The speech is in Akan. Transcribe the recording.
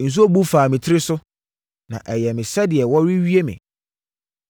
nsuo bu faa me tiri so, na ɛyɛɛ me sɛdeɛ wɔrewie me.